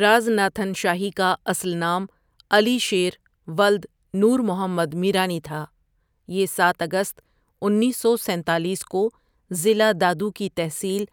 راز ناتھن شاہی کا اصل نام علی شیر ولد نور محمد ميرانی تھا، یہ سات اگست انیسو سینتالیس کو ضلع دادو کی تحصیل